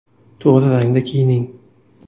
To‘g‘ri rangda kiyining.